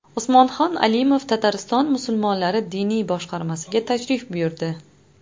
Usmonxon Alimov Tatariston musulmonlari diniy boshqarmasiga tashrif buyurdi .